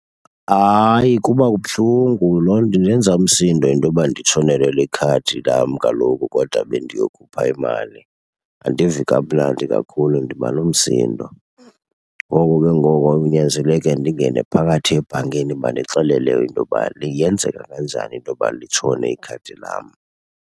Hayi, kuba buhlungu. Loo nto indenza umsindo intoba nditshonelwe likhadi lam kaloku kodwa bendiyokhupha imali. Andivi kamnandi kakhulu, ndiba nomsindo. Ngoko ke ngoku kunyanzeleke ndingene phakathi ebhankini bandixelele intoba yenzeka kanjani intoba litshone ikhadi lam.